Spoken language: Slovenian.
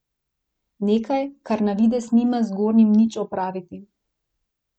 Nekaj, kar na videz nima z gornjim nič opraviti.